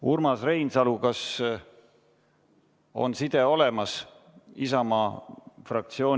Urmas Reinsalu Isamaa fraktsiooni nimel, kas on side olemas?